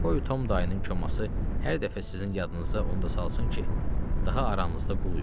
Qoy Tom dayının koması hər dəfə sizin yadınıza onu da salsın ki, daha aranızda qul yoxdur.